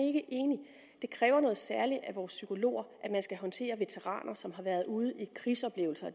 ikke enig det kræver noget særligt af vores psykologer at skulle håndtere veteraner som har været ude i krigsoplevelser og